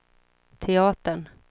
teatern